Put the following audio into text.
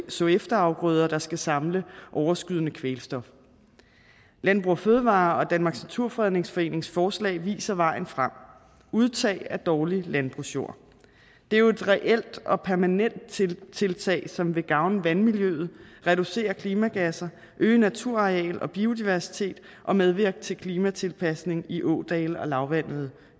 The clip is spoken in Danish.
så efterafgrøder der skal samle overskydende kvælstof landbrug fødevarer og danmarks naturfredningsforenings forslag viser vejen frem udtagning af dårlig landbrugsjord det er jo et reelt og permanent tiltag tiltag som vil gavne vandmiljøet reducere klimagasser øge naturareal og biodiversitet og medvirke til klimatilpasning i ådale og lavvandede